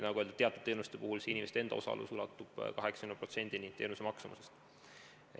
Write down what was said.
Nagu öeldud, teatud teenuste puhul ulatub patsientide ja nende lähedaste enda osalus 80%-ni teenuse maksumusest.